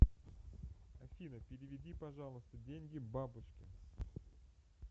афина переведи пожалуйста деньги бабушке